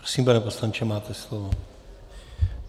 Prosím, pane poslanče, máte slovo.